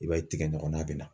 I b'a ye tigɛ ɲɔgɔna bɛ na.